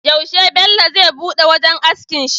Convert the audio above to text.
Yaushe Bello zai buɗe wajan askin shi?